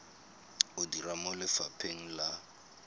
o dira mo lefapheng la